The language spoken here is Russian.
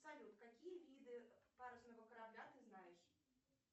салют какие виды парусного корабля ты знаешь